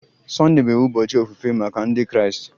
Sunday bụ ụbọchị ofufe maka Ndị Kraịst